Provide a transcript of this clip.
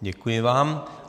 Děkuji vám.